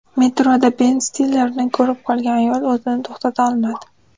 Metroda Ben Stillerni ko‘rib qolgan ayol o‘zini to‘xtata olmadi .